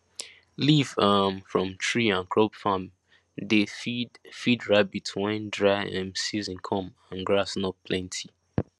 leaf um from tree and crop farm dey feed feed rabbit when dry um season come and grass no plenty